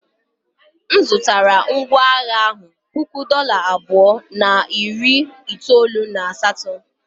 M zụtara ngwá agha ahụ puku dollar abụọ na iri itoolu na asatọ.